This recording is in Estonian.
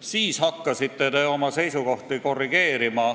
mistõttu te hakkasite oma seisukohti korrigeerima.